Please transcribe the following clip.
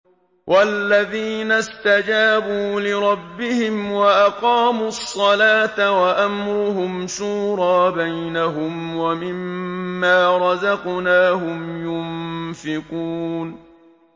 وَالَّذِينَ اسْتَجَابُوا لِرَبِّهِمْ وَأَقَامُوا الصَّلَاةَ وَأَمْرُهُمْ شُورَىٰ بَيْنَهُمْ وَمِمَّا رَزَقْنَاهُمْ يُنفِقُونَ